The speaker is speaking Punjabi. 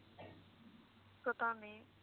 ਪਤਾ ਨੀ